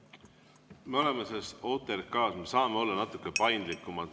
Me saame OTRK puhul olla natuke paindlikumad.